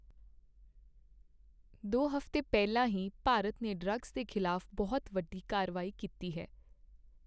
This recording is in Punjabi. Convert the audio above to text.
ਦੋ ਹਫ਼ਤੇ ਪਹਿਲਾਂ ਹੀ ਭਾਰਤ ਨੇ ਡ੍ਰੱਗਸ ਦੇ ਖ਼ਿਲਾਫ਼ ਬਹੁਤ ਵੱਡੀ ਕਾਰਵਾਈ ਕੀਤੀ ਹੈ।